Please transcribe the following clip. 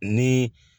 Ni